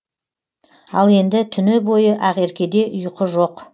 ал енді түні бойы ақеркеде ұйқы жоқ